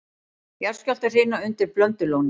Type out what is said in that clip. Jarðskjálftahrina undir Blöndulóni